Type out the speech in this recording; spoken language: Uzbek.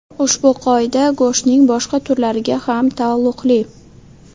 Ushbu qoida go‘shtning boshqa turlariga ham taalluqli.